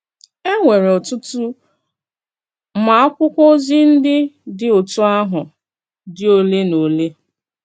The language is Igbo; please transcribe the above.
È nwèrè ọ̀tụ̀tụ̀, mà àkwụ́kwọ́ òzì ndí dị̀ òtú àhụ̀ dị̀ òlè nà òlè.